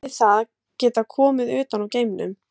Hefði það getað komið utan úr geimnum?